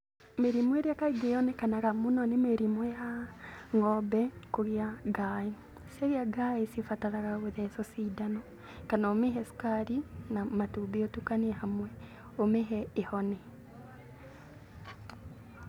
Mĩrimũ ĩrĩa kaingĩ yonekanaga mũno nĩ mĩrimũ ya ng'ombe kũgĩa ngaaĩ. Ciagĩa ngaaĩ cibataraga gũthecwo cindano kana ũmĩhe cukari na matumbĩ ũtukanie hamwe, ũmĩhe ĩhone.